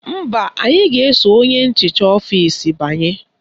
Mba, anyị ga-eso onye nchicha ọfisi banye